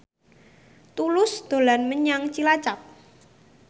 Tulus dolan menyang Cilacap